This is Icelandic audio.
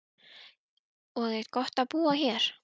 Og er gott að búa hér?